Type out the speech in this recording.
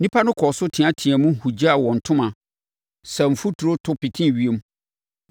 Nnipa no kɔɔ so teateaam, hugyaa wɔn ntoma, saa mfuturo, to petee ewiem.